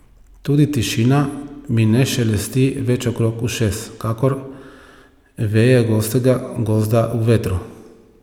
Tudi tišina mi ne šelesti več okrog ušes kakor veje gostega gozda v vetru.